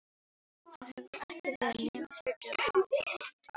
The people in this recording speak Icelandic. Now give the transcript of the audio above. Hún hefði ekki verið nema fjörutíu og átta ára.